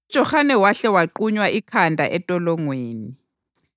uJohane wahle waqunywa ikhanda entolongweni.